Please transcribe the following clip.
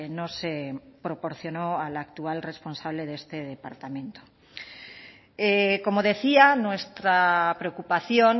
no se proporcionó al actual responsable de este departamento como decía nuestra preocupación